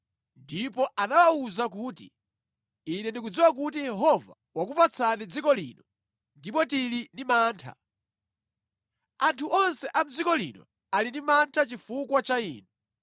ndipo anawawuza kuti, “Ine ndikudziwa kuti Yehova wakupatsani dziko lino ndipo tili ndi mantha. Anthu onse a mʼdziko lino ali ndi mantha chifukwa cha inu.